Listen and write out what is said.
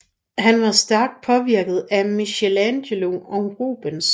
Han var stærkt påvirket af Michelangelo og Rubens